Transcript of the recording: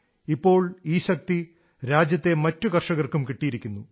ഇപ്പോൾ ഈ ശക്തി രാജ്യത്തെ മറ്റു കർഷകർക്കും കിട്ടിയിരിക്കുന്നു